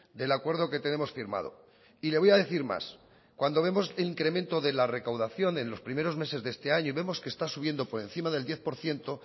del acuerdo que tenemos firmado y le voy a decir más cuando vemos el incremento de la recaudación en los primeros meses de este año y vemos que está subiendo por encima del diez por ciento